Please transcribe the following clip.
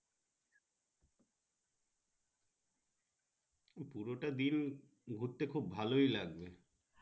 পুরোটা দিন ঘুরতে খুব ভালো লাগবে।